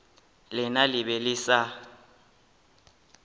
lena le be le sa